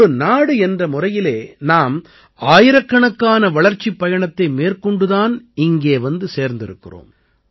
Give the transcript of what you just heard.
ஒரு நாடு என்ற முறையிலே நாம் ஆயிரக்கணக்கான வளர்ச்சிப் பயணத்தை மேற்கொண்டு தான் இங்கே வந்து சேர்ந்திருக்கிறோம்